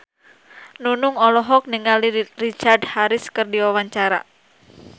Nunung olohok ningali Richard Harris keur diwawancara